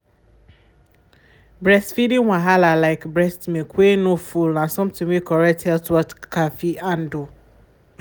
breastfeeding wahala like breast milk wey nor full na something wey correct health worker fit handle.